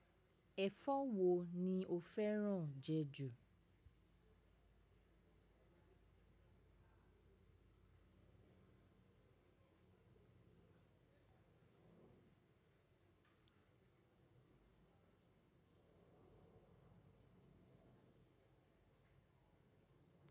Ẹ̀fọ́ wo ni o fẹ́ràn jẹ ju?